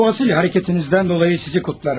Bu asil hərəkətinizdən dolayı sizi kutlarım.